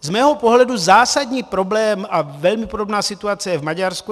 Z mého pohledu zásadní problém, a velmi podobná situace je v Maďarsku.